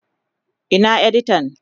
Ina editan?